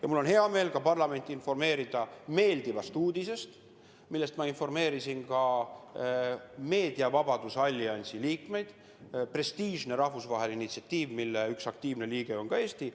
Ja mul on hea meel ka parlamenti informeerida meeldivast uudisest, millest ma juba informeerisin meediavabaduse alliansi liikmeid – see on prestiižne rahvusvaheline initsiatiiv, mille üks aktiivne liige on ka Eesti.